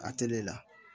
A tele la